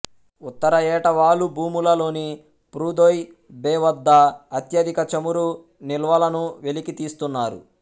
ఉత్తర ఏటవాలు భూములలోని Prudhoe Bay వద్ద అత్యధిక చమురు నిల్వలను వెలికితీస్తున్నారు